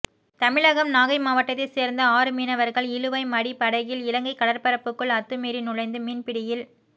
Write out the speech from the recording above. தமிழகம் நாகை மாவட்டத்தை சேர்ந்த ஆறு மீனவர்கள் இழுவை மடி படகில் இலங்கை கடற்பரப்புக்குள் அத்துமீறி நுழைந்து மீன் பிடியில்